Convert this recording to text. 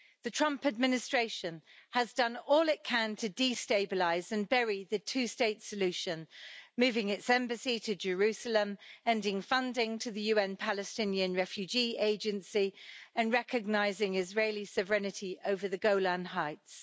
The Trump administration has done all it can to destabilise and bury the two state solution moving its embassy to Jerusalem, ending funding to the UN Palestinian Refugee Agency, and recognising Israeli sovereignty over the Golan Heights.